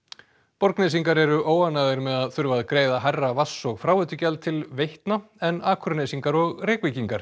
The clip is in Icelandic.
Borgnesingar eru óánægðir með að þurfa að greiða hærra vatns og fráveitugjald til Veitna en Akurnesingar og Reykvíkingar